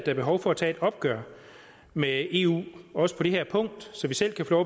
er behov for at tage et opgør med eu også på det her punkt så vi selv kan få